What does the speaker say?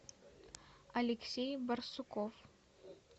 алексей барсуков